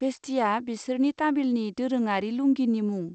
भेस्टिया बिसोरनि तामिलनि दोरोङारि लुंगिनि मुं।